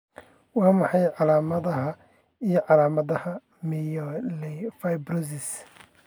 Waa maxay calaamadaha iyo calaamadaha Myelofibrosis?